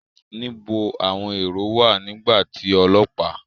Níbo àwọn èró wà nígbà tí ọlọ́pàá?